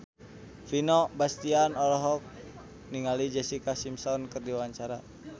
Vino Bastian olohok ningali Jessica Simpson keur diwawancara